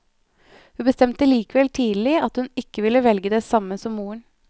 Hun bestemte likevel tidlig at hun ikke ville velge det samme som moren.